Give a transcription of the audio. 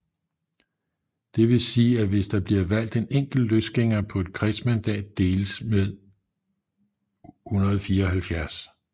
Det vil sige at hvis der bliver valgt en enkelt løsgænger på et kredsmandat deles med 174